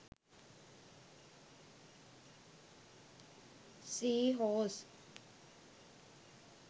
sea horse